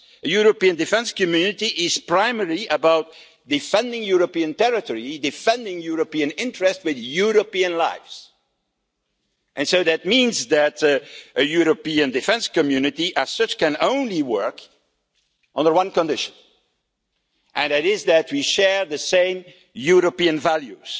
A European Defence Community is primarily about defending European territory and defending European interests with European lives. That means that a European defence community, as such, can only work on one condition, namely that we share the same European values,